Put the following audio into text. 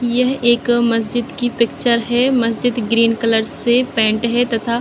यह एक मस्जिद की पिक्चर है मस्जिद ग्रीन कलर से पेंट हैं तथा --